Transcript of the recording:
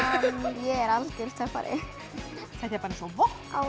ég er aldeilis töffari þetta er bara eins og vopn